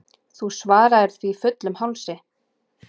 Þú svaraðir því fullum hálsi.